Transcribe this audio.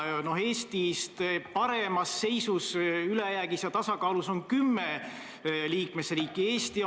Eestist paremas seisus, ülejäägis ja tasakaalus, on kümne liikmesriigi eelarved.